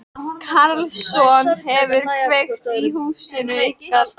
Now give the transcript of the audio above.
Karlsson hefði kveikt í húsinu ykkar.